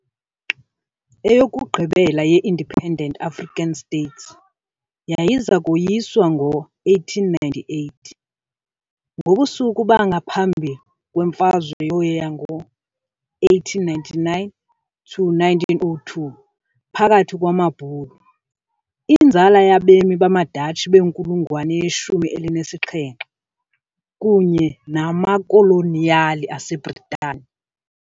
Eyokugqibela ye Independent African states yayiza koyiswa ngo-1898, ngobusuku bangaphambi kweMfazwe yo yango-1899-1902 phakathi kwamaBhulu, inzala yabemi bamaDatshi benkulungwane yeshumi elinesixhenxe, kunye namakoloniyali aseBritani.